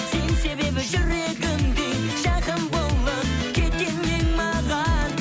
сен себебі жүрегімде жақын болып кеткен едің маған